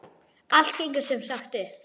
Allt gengur sem sagt upp!